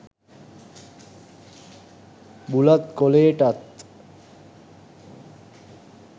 බුලත් කොලේටත්.